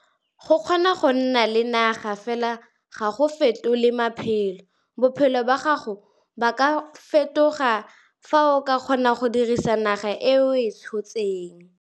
Go kgona go nna le naga fela ga go fetole maphelo bophelo ba gago ba ka fetoga fa o ka kgona go dirisa naga e o e tshotseng.